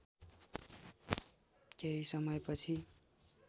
केही समयपछि